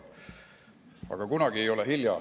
Aga kunagi ei ole hilja.